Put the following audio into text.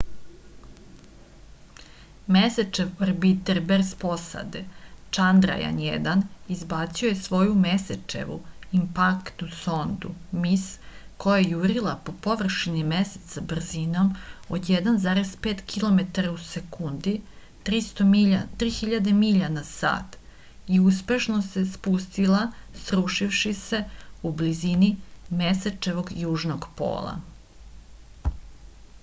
месечев орбитер без посаде чандрајан-1 избацио је своју месечеву импактну сонду mис која је јурила по површини месеца брзином од 1,5 километара у секунди 3000 миља на сат и успешно се спустила срушивши се у близини месечевог јужног пола